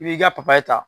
I b'i ka papaye ta